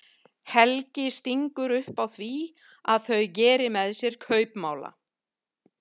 Helgi stingur upp á því að þau geri með sér kaupmála.